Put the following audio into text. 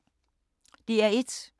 DR1